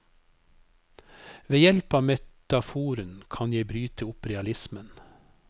Ved hjelp av metaforen kan jeg bryte opp realismen.